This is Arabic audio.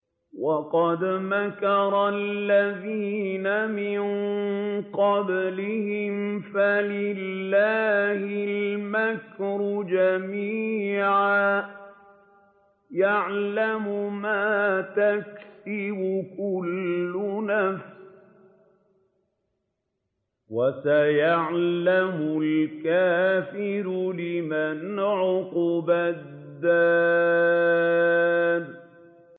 وَقَدْ مَكَرَ الَّذِينَ مِن قَبْلِهِمْ فَلِلَّهِ الْمَكْرُ جَمِيعًا ۖ يَعْلَمُ مَا تَكْسِبُ كُلُّ نَفْسٍ ۗ وَسَيَعْلَمُ الْكُفَّارُ لِمَنْ عُقْبَى الدَّارِ